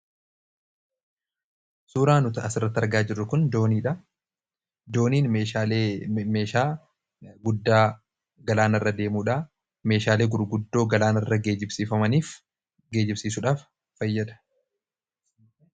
suuraa nuti asirratti argaa jirr kun dooniin meeshaalee meeshaa guddaa galaana irra deemuudha meeshaalee gurguddoo galaana irra geejibsiifamaniif geejibsiisuudhaaf fayyada.